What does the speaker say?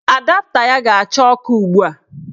Adapta ya ga-acha ọkụ ugbua.